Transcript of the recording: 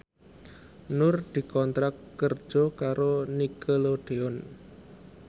Nur dikontrak kerja karo Nickelodeon